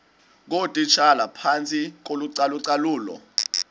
ngootitshala phantsi kocalucalulo